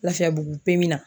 Lafiyabugu pemi na.